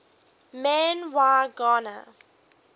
man y gana